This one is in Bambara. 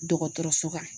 Dɔgɔtɔrɔso kan